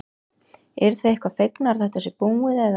Hödd: Eruð þið eitthvað fegnar að þetta sé búið eða?